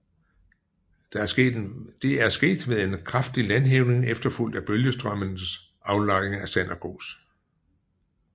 Det er sket ved en kraftig landhævning efterfulgt af bølgestrømmenes aflejring af sand og grus